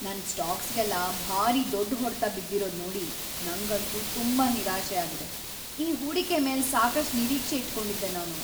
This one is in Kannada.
ನನ್ ಸ್ಟಾಕ್ಸ್‌ಗೆಲ್ಲ ಭಾರೀ ದೊಡ್ಡ್ ಹೊಡ್ತ ಬಿದ್ದಿರೋದ್‌ ನೋಡಿ ನಂಗಂತೂ ತುಂಬಾ ನಿರಾಶೆ ಆಗಿದೆ. ಈ ಹೂಡಿಕೆ ಮೇಲೆ ಸಾಕಷ್ಟ್ ನಿರೀಕ್ಷೆ ಇಟ್ಕೊಂಡಿದ್ದೆ ನಾನು.